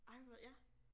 Ej hvor ja